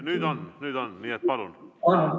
Nüüd on, nii et palun!